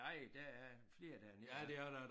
Nej der er flere dernede af